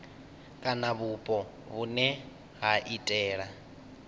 kana vhupo vhune ha iitela